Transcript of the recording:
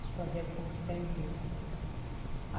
O Projeto São Vicente deu.